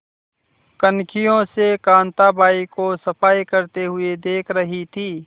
कनखियों से कांताबाई को सफाई करते हुए देख रही थी